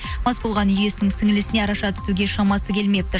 мас болған үй иесінің сіңілісіне араша түсуге шамасы келмепті